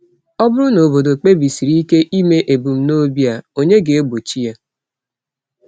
Ọ bụrụ na obodo kpebisiri ike ime ebumnobi a, ònye ga-egbochi ya?